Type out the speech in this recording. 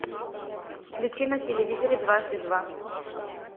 включи на телевизоре дважды два